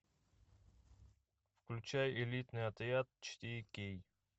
включай элитный отряд четыре кей